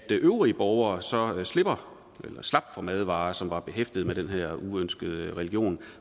øvrige borgere så slap for madvarer som var behæftede med den her uønskede religion